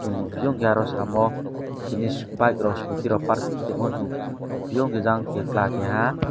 omo pio ke oro samo tini bike rok scooty rok park kai temo chung nugfio bejang ke chwla keha.